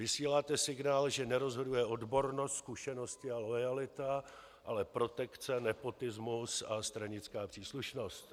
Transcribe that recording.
Vysíláte signál, že nerozhoduje odbornost, zkušenosti a loajalita, ale protekce, nepotismus a stranická příslušnost.